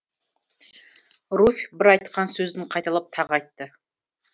руфь бір айтқан сөзін қайталап тағы айтты